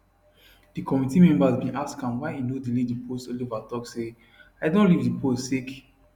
di committee members bin ask am why im no delete di post oliver tok say i don leave di post sake